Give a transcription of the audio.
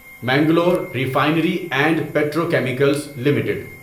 Mangalore refinery and petrochemicals limited